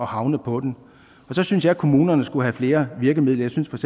havne på dem og så synes jeg at kommunerne skulle have flere virkemidler jeg synes